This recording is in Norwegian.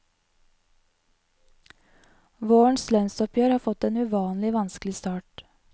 Vårens lønnsoppgjør har fått en uvanlig vanskelig start.